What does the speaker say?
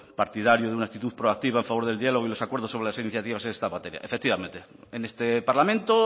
partidario de una actitud proactiva a favor del diálogo y los acuerdo sobre las iniciativas en esta materia efectivamente en este parlamento